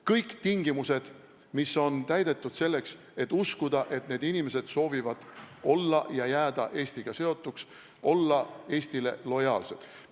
Kõik tingimused peavad olema täidetud, selleks et uskuda, et need inimesed soovivad olla ja jääda Eestiga seotuks, olla Eestile lojaalsed.